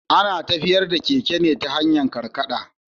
Ana tafiyar da keke ne ta hanyar karkaɗa.